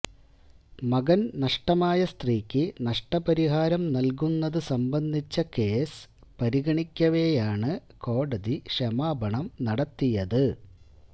മകന് നഷ്ടമായ സ്ത്രീക്ക് നഷ്ടപരിഹാരം നല്കുന്നത് സംബന്ധിച്ച കേസ് പരിഗണിക്കവെയാണ് കോടതി ക്ഷമാപണം നടത്തിയത്